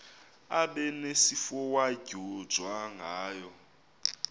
abe nesifowadyojwa ngayo